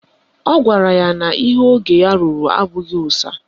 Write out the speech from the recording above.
Ọ gwara anyị na ihe ogo ya ruru abụghị ụsa